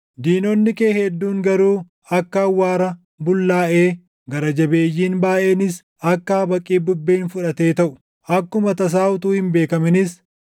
Diinonni kee hedduun garuu akka awwaara bullaaʼee, gara jabeeyyiin baayʼeenis akka habaqii bubbeen fudhatee taʼu. Akkuma tasaa utuu hin beekaminis,